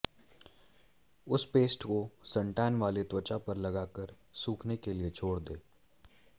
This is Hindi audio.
उस पेस्ट को सनटैन वाले त्वचा पर लगाकर सूखने के लिए छोड़ दें